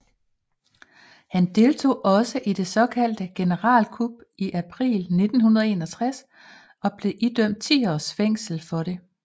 Han deltog også i det såkaldte generalkup i april 1961 og blev idømt 10 års fængsel for dette